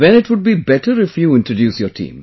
Then it would be better if you introduce your team